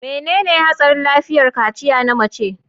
Menene Hatsarin Lafiyar Kaciya Na Mace?